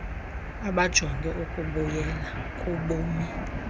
abajonge ukubuyela kubumi